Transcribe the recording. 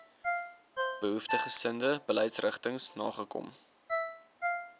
behoeftiggesinde beleidsrigtings nagekom